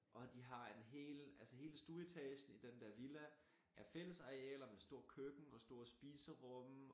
Og de har en hel altså hele stueetagen i den der villa er fællesarealer med stort køkken og stort spiserum